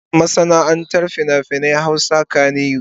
Ana kiran masana'antar fina-finan Hausa kannywood.